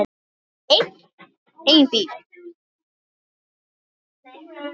en bíll